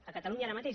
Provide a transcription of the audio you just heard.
a catalunya ara mateix